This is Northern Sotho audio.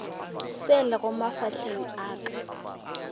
se lego mafahleng a ka